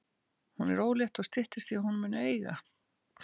Hún er ólétt og styttist í að hún muni eiga.